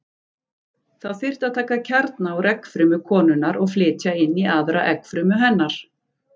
Þá þyrfti að taka kjarna úr eggfrumu konunnar og flytja inn í aðra eggfrumu hennar.